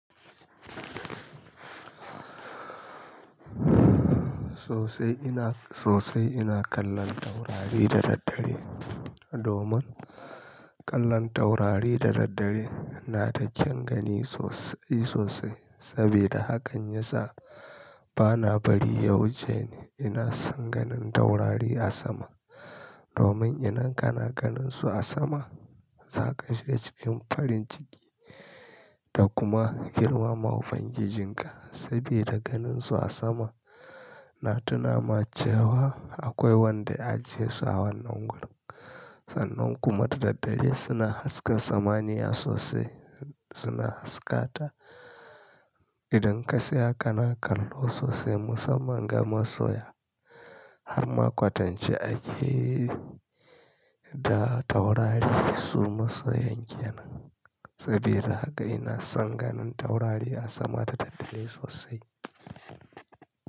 Sosai ina, sosai ina kallon taurari da daddare. Domin kallon taurari da daddare na da kyaun gani sosai sosai. Saboda hakan ya sa bana bari ya wuce ni. Ina son ganin taurari a sama domin idan kana ganin su a sama za ka shiga cikin farin ciki da kuma girmama ubangijin ka. Saboda ganin su a sama na tunama cewa akwai wanda ya ajiye su a wannan wurin. Sannan kuma da daddare suna haska samaniya sosai, suna haskata. Idan ka tsaya kana kallo sosai musamman ga masoya har ma kwatance ake da taurari da su masoyan kenan. Saboda haka ina son ganin taurari a sama da daddare sosai.